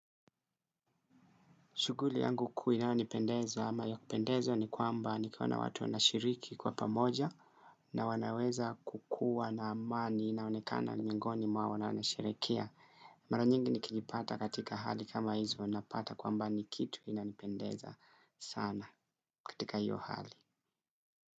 Shuguli yangu kuu inayonipendeza ama ya kupendeza ni kwamba nikawe na watu wanashiriki kwa pamoja na wanaweza kukua na amani inaonekana mingoni mwao wanasherehekea. Mara nyingi nikijipata katika hali kama hizi huwa napata kwamba ni kitu inanipendeza sana katika hiyo hali.